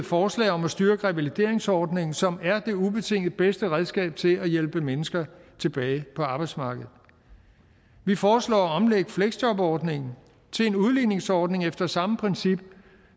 forslag om at styrke revalideringsordningen som er det ubetinget bedste redskab til at hjælpe mennesker tilbage på arbejdsmarkedet vi foreslår at omlægge fleksjobordningen til en udligningsordning efter samme princip